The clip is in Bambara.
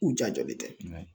U ja jɔlen tɛ